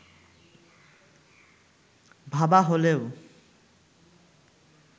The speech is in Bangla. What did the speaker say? ভাবা হলেও